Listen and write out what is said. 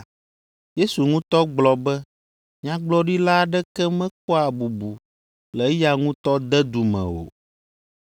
(Yesu ŋutɔ gblɔ be nyagblɔɖila aɖeke mekpɔa bubu le eya ŋutɔ dedu me o.)